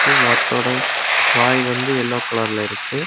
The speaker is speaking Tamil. வாத்தோட வாய் வந்து யெல்லோ கலர்ல இருக்கு.